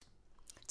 TV 2